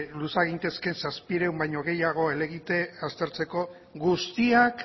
luza gintezke zazpiehun baino gehiago helegite aztertzeko guztiak